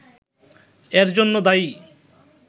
এর জন্য দায়ী